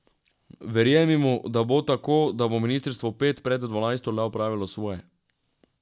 Verjemimo, da bo tako, da bo ministrstvo pet pred dvanajsto le opravilo svoje.